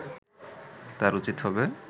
তার উচিত হবে